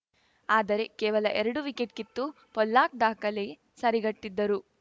ಆದರೆ ಕೇವಲಎರಡು ವಿಕೆಟ್‌ ಕಿತ್ತು ಪೊಲ್ಲಾಕ್‌ ದಾಖಲೆ ಸರಿಗಟ್ಟಿದ್ದರು